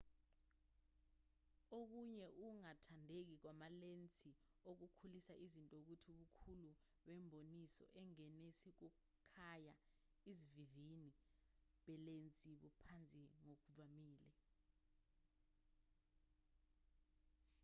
okunye ukungathandeki kwamalensi okukhulisa iznto ukuthi ubukhulu bemboniso engenisa ukukhaya isivinini belensi buphansi ngokuvamile